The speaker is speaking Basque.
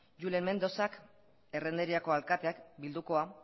julen mendozak errenteriako alkateak bildukoa